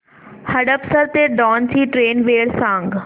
हडपसर ते दौंड ची ट्रेन वेळ सांग